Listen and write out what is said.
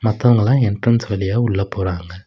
மத்தவங்கலா entrance வழியா உள்ள போறாங்க.